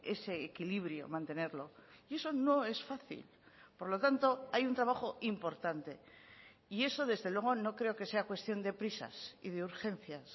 ese equilibrio mantenerlo y eso no es fácil por lo tanto hay un trabajo importante y eso desde luego no creo que sea cuestión de prisas y de urgencias